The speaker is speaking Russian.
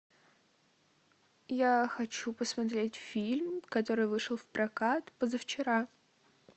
я хочу посмотреть фильм который вышел в прокат позавчера